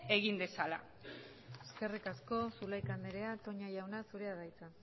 egin dezala eskerrik asko zulaika andrea toña jauna zurea da hitza